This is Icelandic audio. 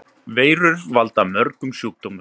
Veirur valda mörgum sjúkdómum.